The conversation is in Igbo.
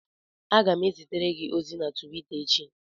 Aga m ezitere gị ozi na Twita echi